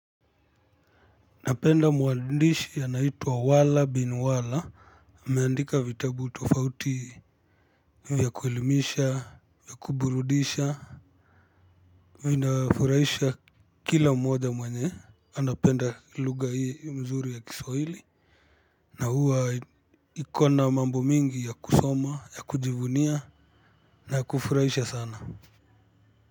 Napenda mwandishi anaituwa wala bin wala. Ameandika vitabu tofauti ya kuelimisha, ya kuburudisha. Vinafuraisha kila mmoja mwenye. Anapenda luga hii mzuri ya kisawili. Na huwa ikona mambo mingi ya kusoma, ya kujivunia, na ya kufuraisha sana.